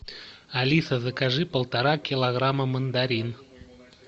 алиса закажи полтора килограмма мандарин